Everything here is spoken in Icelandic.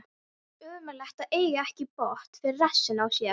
Ömurlegt að eiga ekki bót fyrir rassinn á sér.